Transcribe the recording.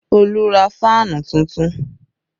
Olu ra fáànù tuntun